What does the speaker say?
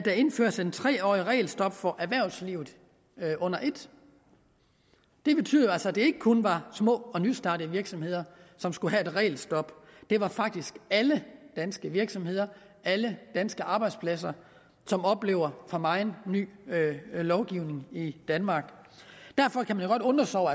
indføres et tre årig t regelstop for erhvervslivet under et det betyder altså at det ikke kun var små og nystartede virksomheder som skulle have et regelstop det var faktisk alle danske virksomheder alle danske arbejdspladser som oplever for meget ny lovgivning i danmark derfor kan man jo godt undre sig over